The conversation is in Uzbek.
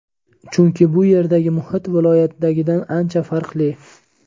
Chunki bu yerdagi muhit viloyatdagidan ancha farqli.